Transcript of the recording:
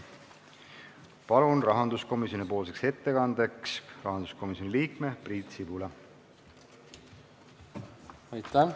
Palun rahanduskomisjoni ettekandjaks rahanduskomisjoni liikme Priit Sibula.